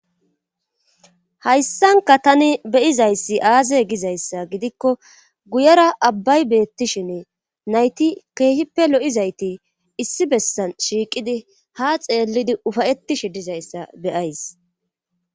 hayssanka tani beyizayssi aaze gizayssa gidikko guyera abbay beettishinne nayti keehippe lo7izayti issi bessan shiiqidi ha xeellidi ufayettishe dizayssa beyays